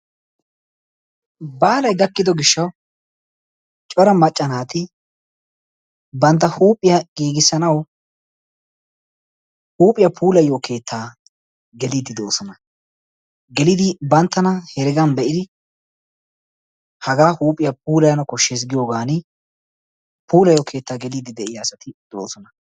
Baallay gakiddo gishshawu cora macca naati bantta huuphphiyaa giigisanawu huuphphiyaa puulayiyo keetta gelidi doossona. Gelidi banttana hereggan be'idi hagaa huuphphiyaa puulayanaw koshshes giyoogani puulayiyo keetta gelidi de'iyaa asatti doosona.